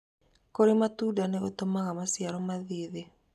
Kũrĩ matunda nĩ gũtũmaga maciaro mathiĩ thĩ